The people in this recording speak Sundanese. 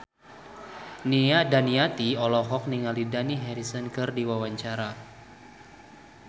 Nia Daniati olohok ningali Dani Harrison keur diwawancara